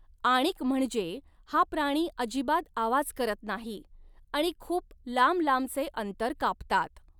आणिक म्हणजे हा प्राणी अजिबात आवाज करत नाही आणि खूप लांबलांबचे अंतर कापतात.